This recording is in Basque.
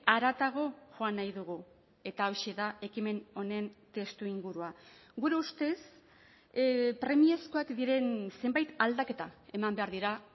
haratago joan nahi dugu eta hauxe da ekimen honen testuingurua gure ustez premiazkoak diren zenbait aldaketa eman behar dira